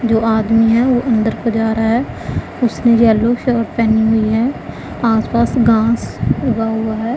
दो आदमी है वो अंदर को जा रहा है। उसने येलो शर्ट पहनी हुई है। आस-पास घास उगा हुआ है।